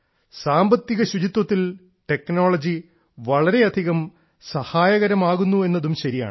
സാമ്പത്തിക ശുചിത്വത്തിൽ ടെക്നോളജി വളരെയധികം സഹായകരമാകുന്നു എന്നതും ശരിയാണ്